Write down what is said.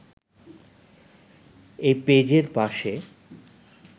এই পেজের পাশে